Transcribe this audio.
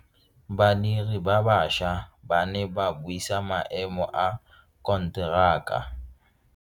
Badiri ba baša ba ne ba buisa maemo a konteraka.